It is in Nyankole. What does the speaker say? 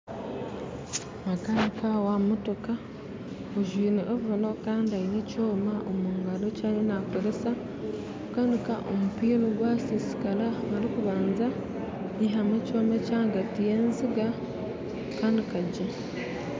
Makanika wa motooka ajwire ovooro kandi aine n'ekyoma omugaro eki ariyo nakooresa kukanika omumpiira ogwasisiikara arikubanza kwihamu ekyoma ekiri ahagati y'ezinga kukanika gye